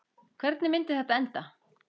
Hvernig myndi þetta enda?